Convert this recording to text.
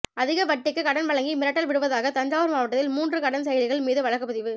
அதிக வட்டிக்கு கடன் வழங்கி மிரட்டல் விடுத்தாக தஞ்சாவூர் மாவட்டத்தில் மூன்று கடன் செயலிகள் மீது வழக்கு பதிவு